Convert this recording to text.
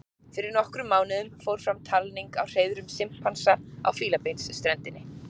fyrir nokkrum mánuðum fór fram talning á hreiðrum simpansa á fílabeinsströndinni